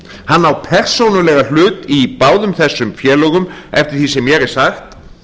hann á persónulegan hlut í báðum þessum félögum eftir því sem mér er sagt